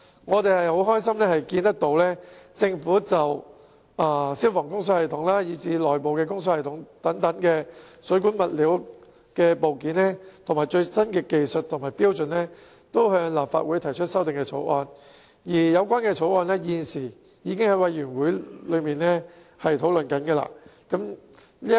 我們很高興看到政府就消防供水系統及內部供水系統等水管物料和部件的最新技術和標準向立法會提出修正案，有關修正案亦已交由相關委員會討論。